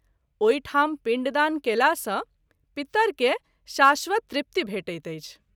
ओहिठाम पिण्डदान कएला सँ पितर के शाश्वत तृप्ति भेटैत अछि।